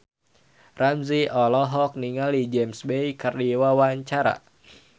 Ramzy olohok ningali James Bay keur diwawancara